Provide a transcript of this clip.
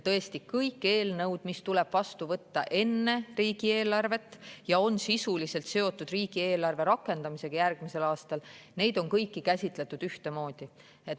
Tõesti, kõiki eelnõusid, mis tuleb vastu võtta enne riigieelarvet ja mis on sisuliselt seotud riigieelarve rakendamisega järgmisel aastal, on käsitletud ühtemoodi.